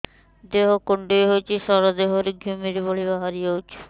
ଦେହ କୁଣ୍ଡେଇ ହେଉଛି ସାରା ଦେହ ରେ ଘିମିରି ଭଳି ବାହାରୁଛି